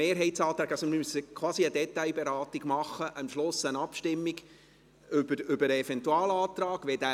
Wir müssten also quasi eine Detailberatung und am Schluss eine Abstimmung über den Eventualantrag machen.